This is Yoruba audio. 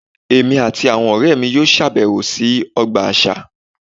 Èmi àti àwọn ọ̀rẹ́ mi yóò ṣèbẹ̀wò sí ọgbà àṣà